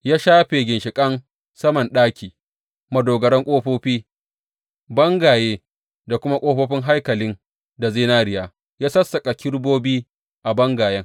Ya shafe ginshiƙan saman ɗaki, madogaran ƙofofi, bangaye da kuma ƙofofin haikalin da zinariya, ya sassaƙa kerubobi a bangayen.